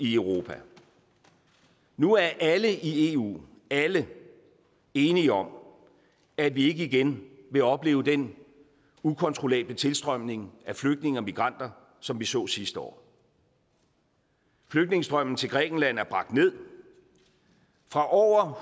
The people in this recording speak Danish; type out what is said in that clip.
i europa nu er alle i eu alle enige om at vi ikke igen vil opleve den ukontrollable tilstrømning af flygtninge og migranter som vi så sidste år flygtningestrømmen til grækenland er bragt ned fra over